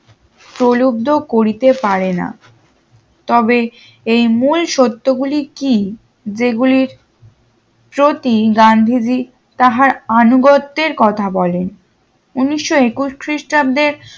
পলব্ধ করিতে পারেনা তবে এই মূল সত্য গুলি কি যেগুলি প্রতি গান্ধীজি তাহার আনুগত্যের কথা বলে উনিশশো একুশ খ্রিস্টাব্দে